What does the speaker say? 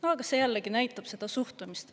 Aga see jällegi näitab seda suhtumist.